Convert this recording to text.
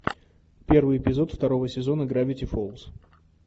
первый эпизод второго сезона гравити фолз